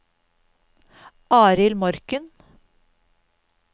Arild Morken